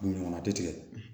Ɲɔgɔn tɛ tigɛ